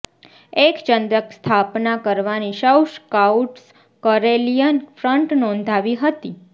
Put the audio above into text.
એક ચંદ્રક સ્થાપના કરવાની સૌ સ્કાઉટ્સ કરેલિયન ફ્રન્ટ નોંધાવી હતી